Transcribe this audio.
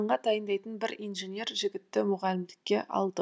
емтиханға дайындайтын бір инженер жігітті мұғалімдікке алдық